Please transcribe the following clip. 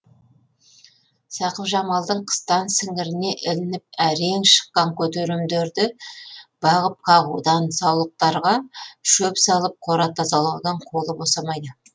сақыпжамалдың қыстан сіңіріне ілініп әрең шыққан көтеремдерді бағып қағудан саулықтарға шөп салып қора тазалаудан қолы босамайды